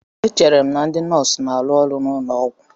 Echere m na ndị nọọsụ na-arụ ọrụ n'ụlọ ọgwụ